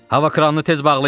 Hava kranını tez bağlayın.